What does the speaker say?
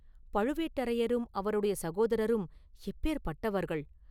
பழுவேட்டரையரும் அவருடைய சகோதரரும் எப்பேர்ப்பட்டவர்கள்?